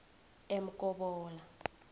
emkobola